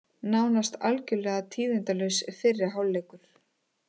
Nánast algjörlega tíðindalaus fyrri hálfleikur